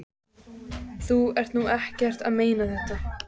Þú ert nú ekki að meina þetta!